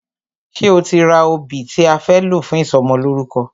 Ṣe o ti ra obì tí a fẹ́ lò fún ìsọmọlórúkọ?